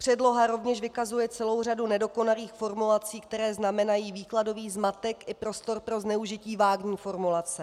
Předloha rovněž vykazuje celou řadu nedokonalých formulací, které znamenají výkladový zmatek i prostor pro zneužití vágní formulace.